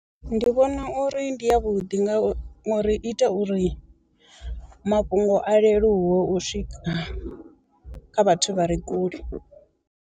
Ndi vhona uri ndi ya vhuḓi nga uri i ita uri mafhungo a leluwe u swika kha vhathu vha re kule.